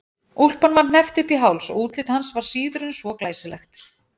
Úlpan var hneppt upp í háls og útlit hans var síður en svo glæsilegt.